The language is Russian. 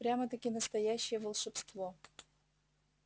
прямо-таки настоящее волшебство